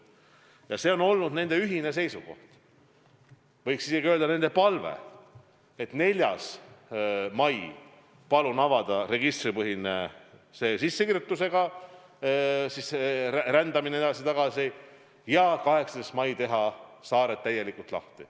Ja see on olnud nende ühine seisukoht, võiks isegi öelda, nende palve, et 4. mail võiks avada registripõhise sissekirjutusega rändamise edasi ja tagasi ning 18. mail teha saared täielikult lahti.